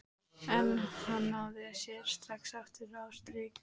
En hann náði sér strax aftur á strik.